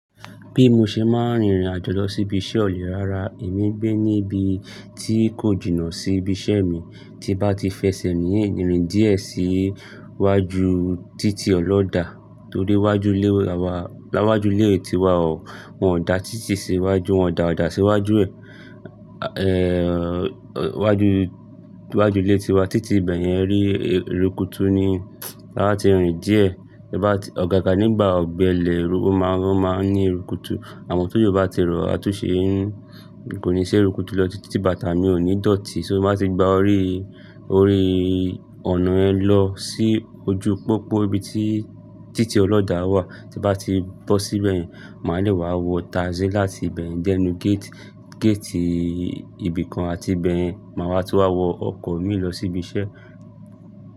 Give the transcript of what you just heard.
Bí mo ṣe máa ń rìnrìn àjò lọ sí ibi iṣẹ́ ọ̀ le, rárá èmi n gbé níbi tí kò jìnnà sí ibi iṣẹ́ mi. Tí bá ti fẹsẹ̀ mí ń rìnrìn díẹ̀ sí iwájú títí ọlọ́dà tó dé iwájú ilé wa, láwájú ilé ti wa ọ̀, wọ́n dà títí sí iwájú, wọ́n dà ọ̀dà sí iwájú, eh, wájú, iwájú ilé ti wa títí bẹ̀yẹn rí ìrúkùtù ni. Láti rìn díẹ̀ tí bá ti-- ọ̀gá gan nígbà ọ gbẹlẹ̀, ó máa, ó máa ní ìrúkùtù. Àmọ́ tó jù ó bá ti rọ, a tún ṣe ń, kò ní ṣe ìrúkùtù lọ títí bàtà mi ò ní dòtí. So bí a ti gba orí, orí ọ̀nà yẹn lọ sí ojú pópó ibi tí títí ọlọ́ dà wà, tí bá ti bọ́ síbẹ̀ yẹn, máa lè wá wọ taasí láti ibẹ̀ yẹn dẹ́nu géètì, géètì ibìkan àti ibẹ̀ yẹn máa wá tú wá wọ ọkọ̀ mi lọ sí ibi iṣẹ́.